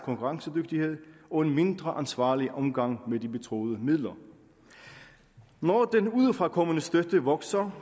konkurrencedygtighed og en mindre ansvarlig omgang med de betroede midler når den udefrakommende støtte vokser